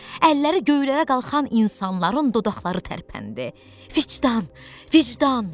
Əlləri göylərə qalxan insanların dodaqları tərpəndi: "Vicdan, vicdan!"